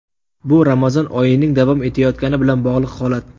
Bu Ramazon oyining davom etayotgani bilan bog‘liq holat.